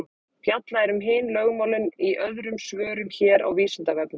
fjallað er um hin lögmálin í öðrum svörum hér á vísindavefnum